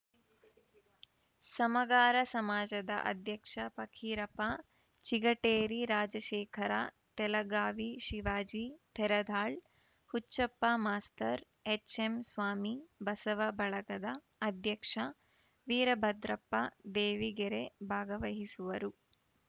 ಸಮಗಾರ ಸಮಾಜದ ಅಧ್ಯಕ್ಷ ಪಕ್ಕೀರಪ್ಪ ಚಿಗಟೇರಿ ರಾಜಶೇಖರ ತೆಲಗಾವಿ ಶಿವಾಜಿ ತೇರದಾಳ್‌ ಹುಚ್ಚಪ್ಪ ಮಾಸ್ತರ್‌ ಎಚ್‌ಎಂಸ್ವಾಮಿ ಬಸವ ಬಳಗದ ಅಧ್ಯಕ್ಷ ವೀರಭದ್ರಪ್ಪ ದೇವಿಗೆರೆ ಭಾಗವಹಿಸುವರು